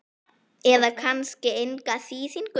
eða kannski enga þýðingu?